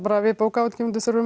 við bókaútgefendur þurfum